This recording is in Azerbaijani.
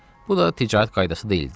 Bu da ticarət qaydası deyildi.